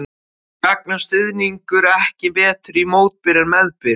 Gagnast stuðningur ekki betur í mótbyr en meðbyr?